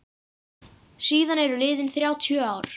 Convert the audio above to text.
Síðan eru liðin þrjátíu ár.